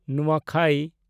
ᱱᱩᱣᱟᱠᱷᱟᱭ